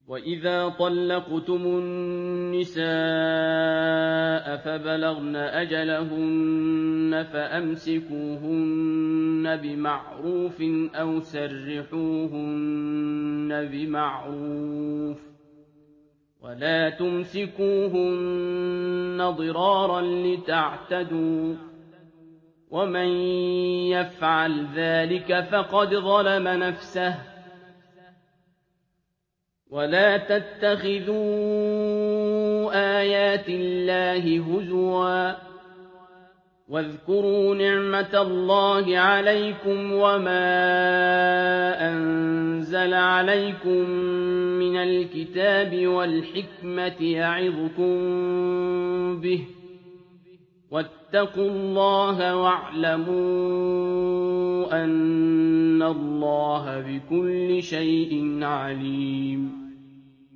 وَإِذَا طَلَّقْتُمُ النِّسَاءَ فَبَلَغْنَ أَجَلَهُنَّ فَأَمْسِكُوهُنَّ بِمَعْرُوفٍ أَوْ سَرِّحُوهُنَّ بِمَعْرُوفٍ ۚ وَلَا تُمْسِكُوهُنَّ ضِرَارًا لِّتَعْتَدُوا ۚ وَمَن يَفْعَلْ ذَٰلِكَ فَقَدْ ظَلَمَ نَفْسَهُ ۚ وَلَا تَتَّخِذُوا آيَاتِ اللَّهِ هُزُوًا ۚ وَاذْكُرُوا نِعْمَتَ اللَّهِ عَلَيْكُمْ وَمَا أَنزَلَ عَلَيْكُم مِّنَ الْكِتَابِ وَالْحِكْمَةِ يَعِظُكُم بِهِ ۚ وَاتَّقُوا اللَّهَ وَاعْلَمُوا أَنَّ اللَّهَ بِكُلِّ شَيْءٍ عَلِيمٌ